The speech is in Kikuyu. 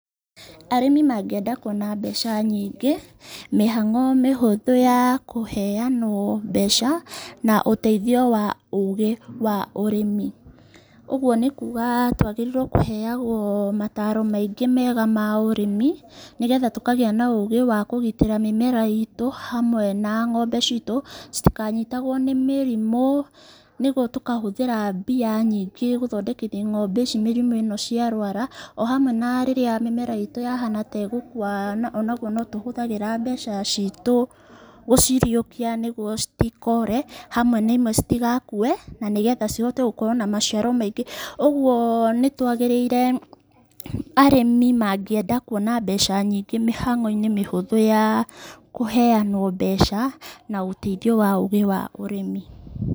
Arĩmi mangĩenda kuona mbeca nyingĩ, mĩhang'o mĩhũthũ ya kũheanwo mbeca, na ũteithio wa ũgĩ wa ũrĩmi, ũguo nĩkuga twagĩrĩirwo kũheyagwo motaro maingĩ mega ma ũrĩmi, nĩgetha tũkagĩa na ũgĩ wa kũgitĩra mĩmera itũ hamwe na ng'ombe citũ citikanyitagwo nĩ mĩrimũ ,nĩguo tũkahũthĩra tũkahũthĩra mbia nyingĩ gũthondekithia ng'ombe ici mĩrimũ ĩno ciarwara, o hamwe na mĩmera itũ rĩrĩa yahana ta ĩgukua onaguo no tũhũthagĩra mbeca ciitũ gũciriũkia nĩguo citikore, hamwe na ĩmwe citigakue, na nĩgetha cihote gũkorwo na maciaro maingĩ, ũguo nĩ kwagĩrĩire arĩmi mangĩenda kuona mbeca nyingĩ mĩhang'o -inĩ mĩhũthũ ya kũheyanwo mbeca na ũteithio wa ũgĩ wa ũrĩmi.